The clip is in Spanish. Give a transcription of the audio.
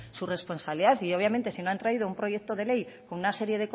sus responsabilidad y obviamente si no han traído un proyecto de ley con una serie